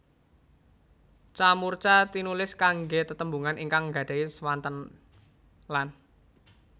Ca murca tinulis kanggé tetembungan ingkang nggadahi swanten lan